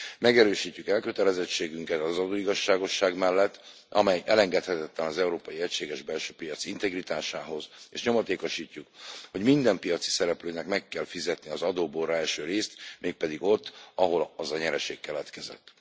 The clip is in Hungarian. Megerősítjük elkötelezettségünket az adóigazságosság mellett, amely elengedhetetlen az európai egységes belső piac integritásához, és nyomatékosítjuk, hogy minden piaci szereplőnek meg kell fizetnie az adóból rá eső részt, mégpedig ott, ahol az a nyereség keletkezett.